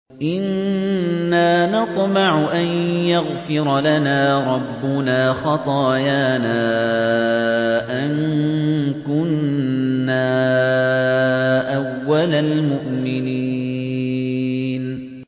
إِنَّا نَطْمَعُ أَن يَغْفِرَ لَنَا رَبُّنَا خَطَايَانَا أَن كُنَّا أَوَّلَ الْمُؤْمِنِينَ